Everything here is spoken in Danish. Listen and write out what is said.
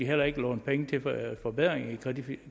heller ikke låne penge til forbedringer i